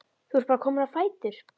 Þú ert bara kominn á fætur?